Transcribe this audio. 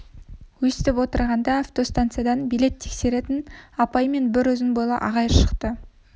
өстіп отырғанда автостанциядан билет тексеретін апай мен бір ұзын бойлы ағай шықты